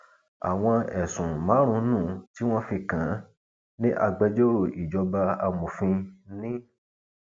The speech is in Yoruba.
àwọn ẹsùn márùnún tí wọn fi kàn án ní agbẹjọrò ìjọba amòfin ń